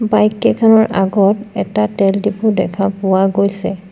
Bike কেইখনৰ আগত এটা তেল ডিপু দেখা পোৱা গৈছে।